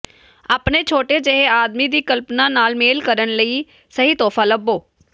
ਆਪਣੇ ਛੋਟੇ ਜਿਹੇ ਆਦਮੀ ਦੀ ਕਲਪਨਾ ਨਾਲ ਮੇਲ ਕਰਨ ਲਈ ਸਹੀ ਤੋਹਫ਼ਾ ਲੱਭੋ